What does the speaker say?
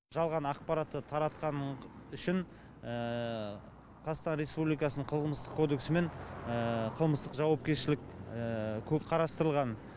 жалған ақпаратты таратқаны үшін қазақстан республикасының қылмыстық кодексімен қылмыстық жауапкершілік қарастырылған